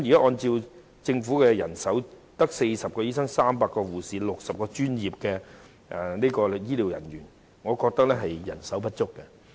按照政府提供的人手資料，現時只有40名醫生、300名護士及60名專職醫療人員，我認為人手並不足夠。